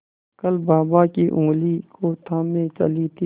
कल बाबा की ऊँगली को थामे चली थी